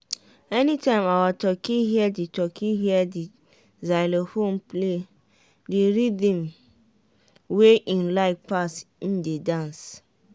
anytime our turkey hear the turkey hear the xylophone play the rhythm wey en like pass en dey dance.